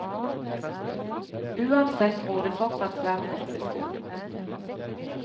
Uansett gror det fortsatt svært godt ved skolen.